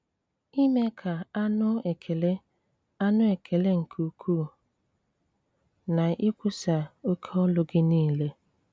Ime ka anu ekele anu ekele nke-uku, Na ikwusa oké ọlu-Gi nile.